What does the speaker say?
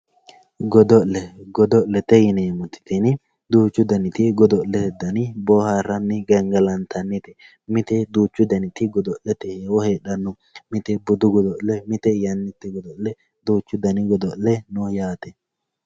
Godo'le gado'lete yineemoti tini duuchu daniti godo'lete dani booharani gangalanitanite mite duuchu daniti godo'lete heewo heedhano mite budu godo'le, mite yanite godo'le duuchu dani godo'le no yaate.